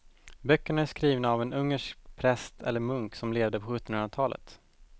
Böckerna är skrivna av en ungersk präst eller munk som levde på sjuttonhundratalet.